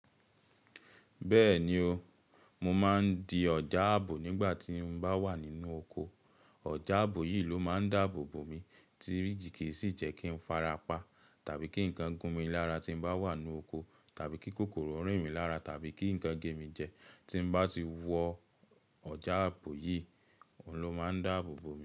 Bẹ́ẹ̀ni o, mo máa ń di ọ̀já ààbò nígbà tí mo bá wà nínú oko. Ọjà ààbò yìí ló máa ń dáàbò bo mi tí kì í sì jẹ́ kí ń farapa, tàbí kí ǹkan gún mi lára tí bá wà nínú oko, tàbí kí kòkòrò rìn mí lára, tàbí kí ǹkan gé mi jẹ. Tí bá ti wọ ọjà ààbò yìí, òun ló máa ń dáàbò bo mi.